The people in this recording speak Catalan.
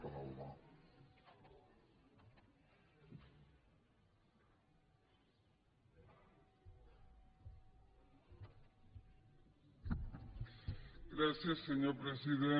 gràcies senyor president